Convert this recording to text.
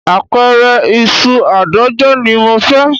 Apẹ̀rẹ̀ ìṣù àádọ́jọ ni mo fẹ́